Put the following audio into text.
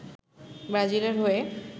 ব্রাজিলের হয়ে